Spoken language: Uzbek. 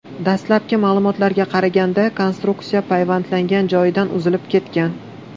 Dastlabki ma’lumotlarga qaraganda, konstruksiya payvandlangan joyidan uzilib ketgan.